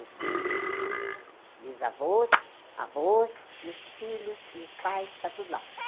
Os os os os bisavôs, avôs e os filhos e os pais, está tudo lá.